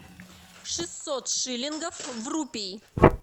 шестьсот шиллингов в рупии